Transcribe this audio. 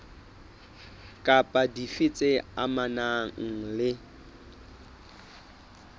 kapa dife tse amanang le